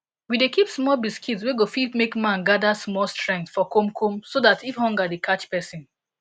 we dey keep small biscuit wey go fit make man gather small strength for komkom so that if hunger dey catch person